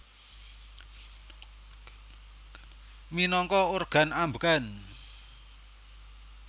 Minangka organ ambegan